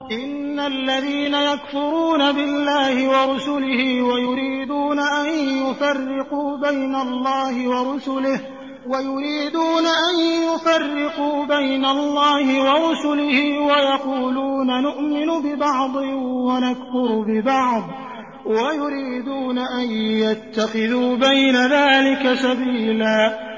إِنَّ الَّذِينَ يَكْفُرُونَ بِاللَّهِ وَرُسُلِهِ وَيُرِيدُونَ أَن يُفَرِّقُوا بَيْنَ اللَّهِ وَرُسُلِهِ وَيَقُولُونَ نُؤْمِنُ بِبَعْضٍ وَنَكْفُرُ بِبَعْضٍ وَيُرِيدُونَ أَن يَتَّخِذُوا بَيْنَ ذَٰلِكَ سَبِيلًا